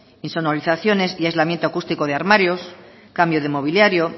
insonorizaciones y aislamiento acústico de armarios cambio de mobiliario